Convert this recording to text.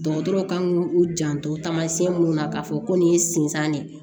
Dɔgɔtɔrɔw kan k'u janto taamasiyɛn minnu na k'a fɔ ko nin ye sinsan de ye